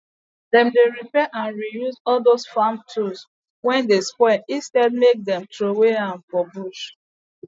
dem dy repair and reuse all dose farm tools wey dey spoil instead make dem trowey am for bush